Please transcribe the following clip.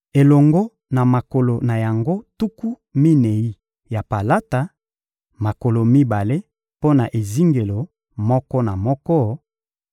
elongo na makolo na yango tuku minei ya palata: makolo mibale mpo na ezingelo moko na moko;